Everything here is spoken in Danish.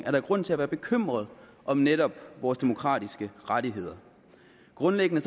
er der grund til at være bekymret om netop vores demokratiske rettigheder grundlæggende